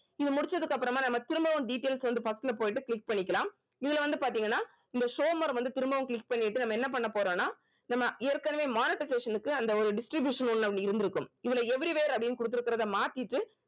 இது முடிச்சதுக்கு அப்புறமா நம்ம திரும்பவும் details வந்து first ல போயிட்டு click பண்ணிக்கலாம் இதுல வந்து பாத்தீங்கன்னா இந்த show more வந்து திரும்பவும் click பண்ணிட்டு நம்ம என்ன போறோம்னா நம்ம ஏற்கனவே monetization க்கு அந்த ஒரு distribution ஒண்ணு இருந்திருக்கும் இதுல every where அப்படின்னு குடுக்கிறத மாத்திட்டு